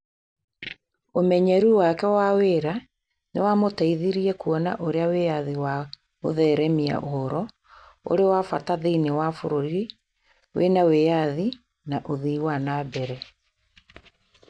Ũmenyeru wake wa wĩra nĩ wamũteithirie kuona ũrĩa wĩyathi wa gũtheremia ũhoro ũrĩ wa bata thĩinĩ wa bũrũri wĩ na wĩyathi na ũthii wa na mbere.